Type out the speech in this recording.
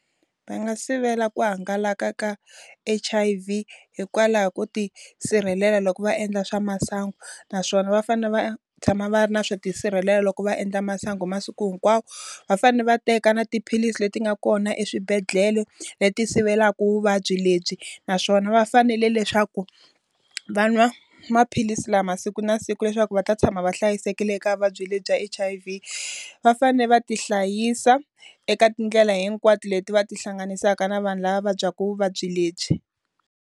Va nga sivela ku hangalaka ka H_I_V hikwalaho ko ti sirhelela loko va endla swa masangu. Naswona va fanele va tshama va ri na swo tisirhelela loko va endla masangu masiku hinkwawo. Va fanele va teka na tiphilisi leti nga kona eswibedhlele leti sivelaku vuvabyi lebyi, naswona va fanele leswaku va nwa maphilisi lama masiku na siku leri ku va ta tshama va hlayisekile eka vuvabyi lebyi H_I_V. Va fanele va ti hlayisa eka tindlela hinkwato leti va ti hlanganisaka na vanhu lava va vabyaku vuvabyi lebyi.